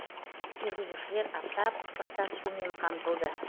жүргізушілер аптап ыстықта сумен қамтылды